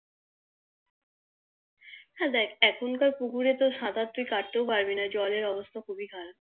দেখ এখনকার পুকুরে তুই সাঁতার কাটতেও পারবি না জলের অবস্থা খুবই খারাপ